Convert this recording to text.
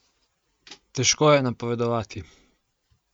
Težko je napovedovati.